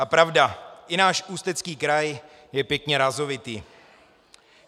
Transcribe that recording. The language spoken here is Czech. A pravda, i náš Ústecký kraj je pěkně rázovitý.